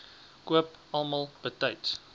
koop almal betyds